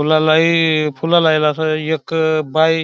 फुला लाई फुला लाईल एक बाई --